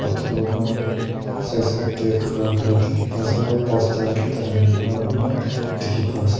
pathor kan side side de ghara kurina diki pa ase aro duster ekta lamba hoina diki pa ase.